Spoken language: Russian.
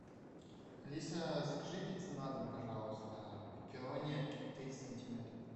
алиса закажи пиццу на дом пожалуйста пепперони тридцать сантиметров